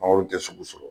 Mangoro tɛ sugu sɔrɔ